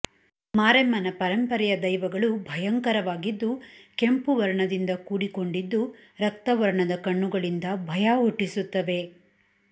ಮಾರೆಮ್ಮನ ಪರಂಪರೆಯ ದೈವಗಳು ಭಯಂಕರವಾಗಿದ್ದು ಕೆಂಪು ವರ್ಣದಿಂದ ಕೂಡಿಕೊಂಡಿದ್ದು ರಕ್ತವರ್ಣದ ಕಣ್ಣುಗಳಿಂದ ಭಯ ಹುಟ್ಟಿಸುತ್ತವೆ